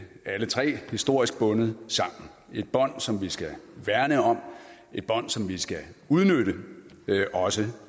alle tre historisk bundet sammen et bånd som vi skal værne om et bånd som vi skal udnytte også